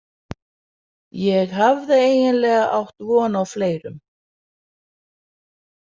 Ég hafði eiginlega átt von á fleirum.